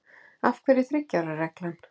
Af hverju þriggja ára reglan?